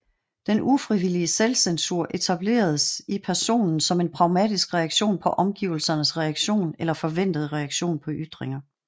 Den ufrivillige selvcensur etableres i personen som en pragmatisk reaktion på omgivelsernes reaktion eller forventede reaktion på ytringer